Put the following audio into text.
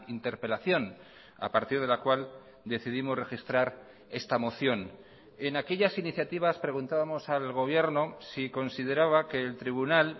interpelación a partir de la cual decidimos registrar esta moción en aquellas iniciativas preguntábamos al gobierno si consideraba que el tribunal